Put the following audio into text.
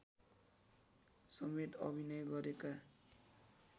समेत अभिनय गरेका